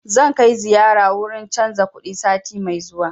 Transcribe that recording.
Zan kai ziyara wurin canza kuɗi sati mai zuwa